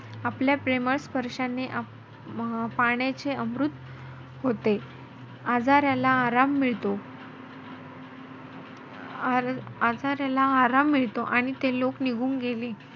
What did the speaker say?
आपल्या प्रेमळ स्पर्शाने पाण्याचे अमृत होते. आजाराला अराम मिळतो अं आजाराला अराम मिळतो आणि ते लोक निघून गेले.